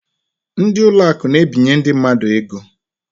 Ndị ụlọ akụ na-ebinye ndị mmadụ ego.